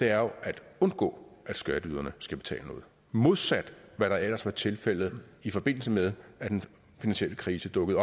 er jo at undgå at skatteyderne skal betale noget modsat hvad der ellers var tilfældet i forbindelse med at den finansielle krise dukkede